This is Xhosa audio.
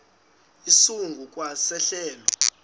esingu kwa sehlelo